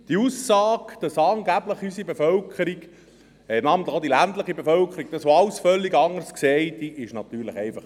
Die Aussage ist einfach falsch, wonach unsere Bevölkerung, namentlich auch die ländliche Bevölkerung, das alles völlig anders sehe.